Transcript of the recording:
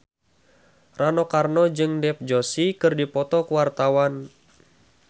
Rano Karno jeung Dev Joshi keur dipoto ku wartawan